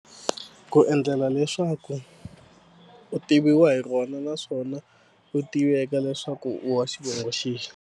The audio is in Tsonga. Ku endlela leswaku u tiviwa hi rona naswona u tiveka leswaku u wa xivongo xexi.